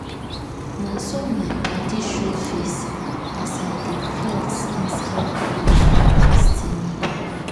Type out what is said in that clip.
na so my padi show face as i dey flex inside cool steamy baff.